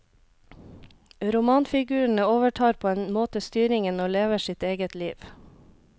Romanfigurene overtar på en måte styringen og lever sitt eget liv.